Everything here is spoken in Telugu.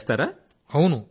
రాజేష్ ప్రజాపతి అవును